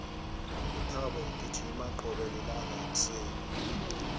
uthabo ugijima qobe lilanga ekuseni